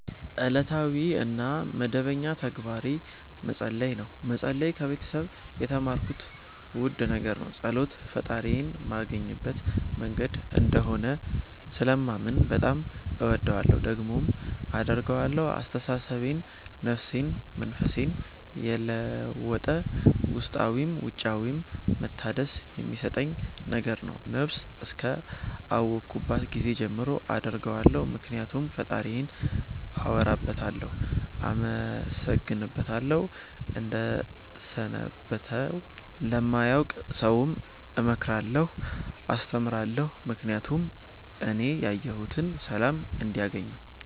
እለታዊ እና መደበኛ ተግባሬ መፀለይ ነው። መፀለይ ከቤተሰብ የተማርኩት ውድ ነገር ነው። ፀሎት ፈጣሪዬን ማገኝበት መንገድ እንደሆነ ስለማምን በጣም እወደዋለሁ። ደግሞም አደርገዋለሁ አስተሳሰቤን፣ ነፍሴን፣ መንፈሴን የለወጠ ውስጣዊም ውጫዊም መታደስ የሚሠጠኝ ነገር ነው። ነብስ እስከ አወኩባት ጊዜ ጀምሮ አደርገዋለሁ ምክኒያቱም ፈጣሪዬን አወራበታለሁ፣ አመሠግንበታለሁ፣ እደሠትበታለሁ። ለማያውቅ ሠውም እመክራለሁ አስተምራለሁ ምክኒያቱም እኔ ያየሁትን ሠላም እንዲያገኙ